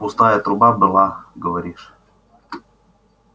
пустая труба была говоришь